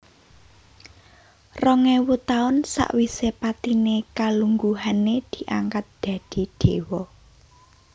Rong éwu taun sawisé patiné kalungguhané diangkat dadi déwa